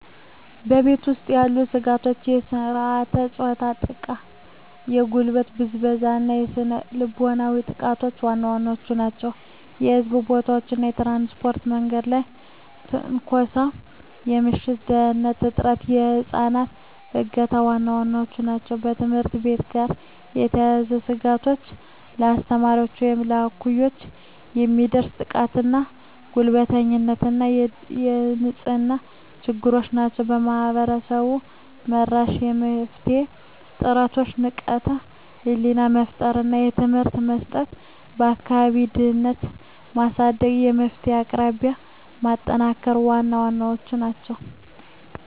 በቤት ውስጥ ያሉ ስጋቶች የሥርዓተ-ፆታ ጥቃ፣ የጉልበት ብዝበዛ እና ስነ ልቦናዊ ጥቃቶች ዋና ዋናዎቹ ናቸው። በሕዝብ ቦታዎች እና በትራንስፖርት የመንገድ ላይ ትንኮሳ፣ የምሽት ደህንንነት እጥረት፣ የህፃናት እገታ ዋና ዋናዎቹ ናቸው። ከትምህርት ቤት ጋር የተያያዙ ስጋቶች በአስተማሪዎች ወይም እኩዮች የሚደርስ ጥቃትና ጉልበተኝነት እና የንጽህና ችግሮች ናቸው። ማህበረሰብ-መራሽ የመፍትሄ ጥረቶች ንቃተ ህሊና መፍጠር እና ትምህርት መስጠት፣ የአካባቢ ደህንነትን ማሳደግ፣ የመፍትሄ አቅራቢነትን ማጠናከር ዋና ዋናዎቹ ናቸው።